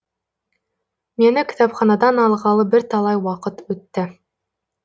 мені кітапханадан алғалы бірталай уақыт өтті